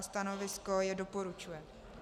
A stanovisko je doporučuje.